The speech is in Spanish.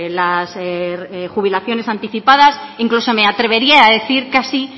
las jubilaciones anticipadas incluso me atrevería a decir casi